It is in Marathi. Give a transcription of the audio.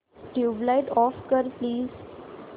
ट्यूबलाइट ऑफ कर प्लीज